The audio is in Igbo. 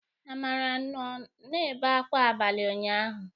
Amara nnọ na-ebe akwa abalị ụnyaahụ.